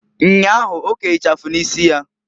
Nnyahu, oke ichafu n'isi ya.